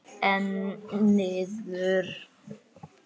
Einn niður.